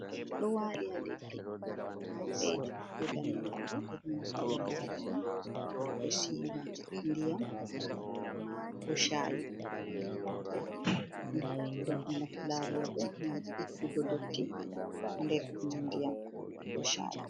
Ɗo waali ha leddi, boɗejum be daneejum. Ɓe ɗo naftira lariya, to ɓe siwan ndiyam ko shaayi. Nafu lariya bo gam ittugo dotti nder ndiyam ko shaayi.